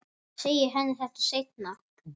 Ég segi henni þetta seinna.